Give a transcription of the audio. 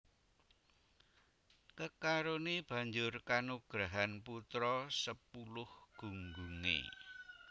Kekaroné banjur kanugrahan putra sepuluh gunggungé